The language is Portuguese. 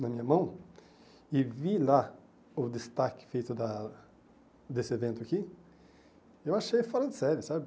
na minha mão e vi lá o destaque feito da desse evento aqui, eu achei fora de série, sabe?